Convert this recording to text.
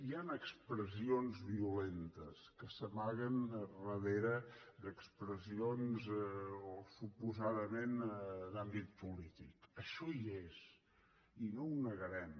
hi han expressions violentes que s’amaguen darrere d’expressions o suposadament d’àmbit polític això hi és i no ho negarem